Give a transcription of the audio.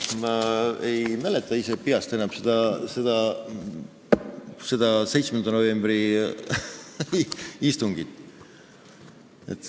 Ma ei mäleta enam seda 7. novembri istungit.